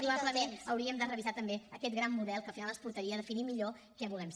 probablement hauríem de revisar també aquest gran model que al final ens portaria a definir millor què volem ser